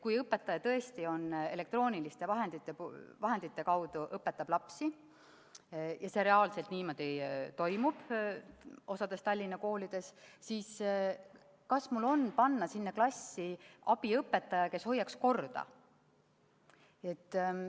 Kui õpetaja tõesti elektrooniliste vahendite kaudu õpetab lapsi – ja see reaalselt niimoodi toimub osas Tallinna koolides –, siis kas mul on panna sinna klassi abiõpetaja, kes hoiaks korda?